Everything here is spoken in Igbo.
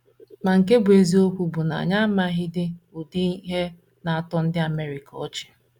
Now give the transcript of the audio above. Ma nke bụ́ eziokwu bụ na anyị amaghịdị ụdị ihe na - atọ ndị America ọchị. ”